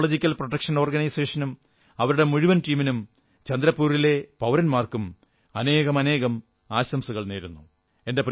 ecological protection ഓർഗനൈസേഷനും അവരുടെ മുഴുവൻ ടീമിനും ചന്ദ്രപൂരിലെ പൌരന്മാർക്കും അനേകം ആശംസകൾ നേരുന്നു